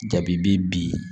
Jabi bi bin